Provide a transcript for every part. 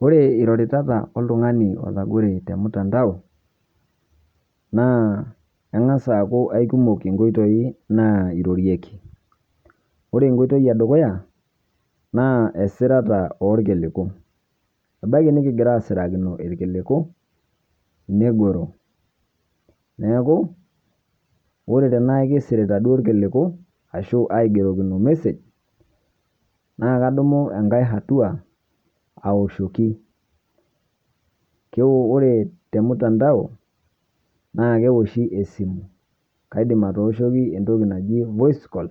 Ore iroritata oltung'ani oitagore te mtandao naa aing'as aaku aikumook nkotoi nairoreki. Ore nkotoi e dukuya naa esiraata e nkilikuu ibaaki nikigira asirakino elkilikuu neigero. Neeku ore tana kisirita doo nkilikuu ashu aigerokino message naa aidimu enkaai atua aoshoki ake. Ore te mtandao naa keoshii esimu kaidiim atooshoki entokii najii voice call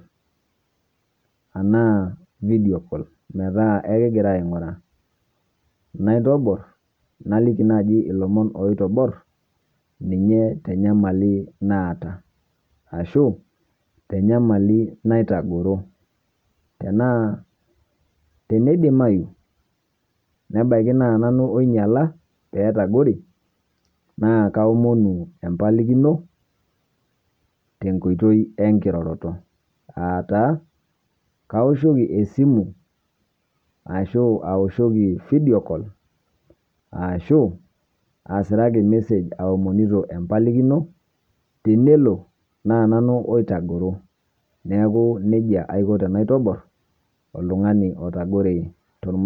ana video call metaa ekigira aing'oraa naitoboor naliiki najii olomoon loitoboor ninye te nyamali naata ashuu te nyamali neitagoro. Tana tenedimayu nebaaki naa nanu enyala pee itagore naa kaomoon empalikino te nkotoi enkiroroto aata kaoshoki esimu ashu aoshoki video call ashuu asirakii message aomonito empalikino teneloo naa nanu oitagoro. Neeku nejaa aiko tenantoborr oltung'ani oitagore.